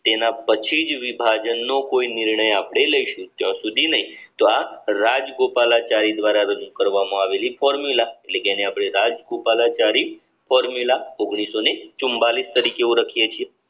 સમર્થન કરવામાં આવી યુદ્ધ પછી મુસ્લિમ બહુમતી દ્વારા જેટલા પણ વિસ્તારો છે એ વિસ્તારોમાં જન્મત નિવાસે એ પણ એમની રાજગોપાલ જરી ફોર્મ્યુલામાં રજૂ કર્યું અને ભારતની સ્વતંત્રતા મળી